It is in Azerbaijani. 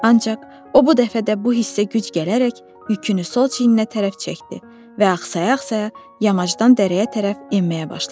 Ancaq o bu dəfə də bu hissə güc gələrək yükünü sol çiyninə tərəf çəkdi və axsaya-axsaya yamacdan dərəyə tərəf enməyə başladı.